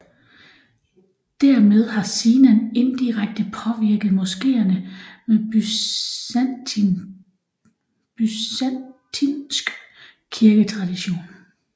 Dermed har Sinan indirekte påvirket moskeerne med byzantinsk kirketradition